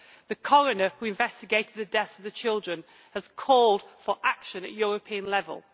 The coroner who investigated the deaths of the children has called for action at European level.